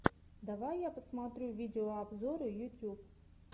давай я посмотрю видеообзоры ютьюб